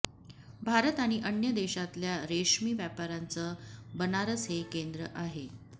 भारत आणि अन्य देशांतल्या रेशमी व्यापाराचं बनारस हे केंद्र आहे